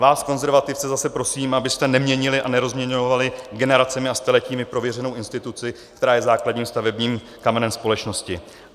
Vás konzervativce zase prosím, abyste neměnili a nerozmělňovali generacemi a staletími prověřenou instituci, která je základním stavebním kamenem společnosti.